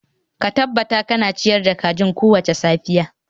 Ka tabbatar kana ciyar da kajin kowace safiya